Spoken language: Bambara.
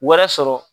Wɛrɛ sɔrɔ